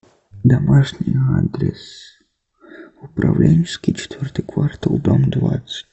домашний адрес управленческий четвертый квартал дом двадцать